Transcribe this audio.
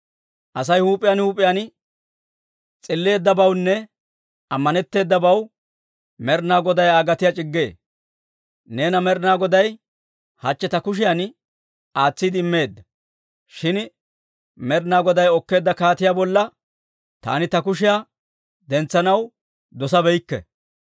Asay huup'iyaan huup'iyaan s'illeeddabawunne ammanetteedabaw Med'inaa Goday Aa gatiyaa c'iggee. Neena Med'inaa Goday hachche ta kushiyan aatsiide immeedda; shin Med'inaa Goday okkeedda kaatiyaa bolla taani ta kushiyaa dentsanaw dosabeykke.